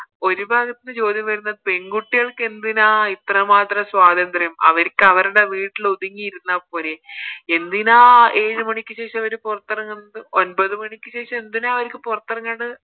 ഒരു ഭാഗത്തിന്ന് ചോദ്യം വരുന്നത് പെൺകുട്ടികൾക്ക് എന്തിനാ ഇത്ര മാത്രം സ്വാതന്ത്ര്യം അവരിക്ക് അവരുടെ വീട്ടില് ഒതുങ്ങി ഇരുന്നപോരെ എന്തിനാ ഏഴ് മണിക്ക് ശേഷം അവര് പൊറത്തിറങ്ങുന്നത് ഒൻപത് മണിക്ക് ശേഷം എന്തിനാ അവരിക്ക് പൊറത്തെറങ്ങണ്ടേ